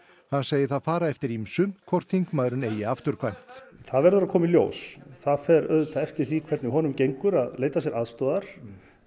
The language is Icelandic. hann segir það fara eftir ýmsu hvort þingmaðurinn eigi afturkvæmt það verður að koma í ljós það fer auðvitað eftir því hvernig honum gengur að leita sér aðstoðar